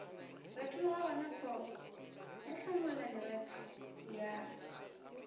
retologa gonafao ya hlanoladirethe ya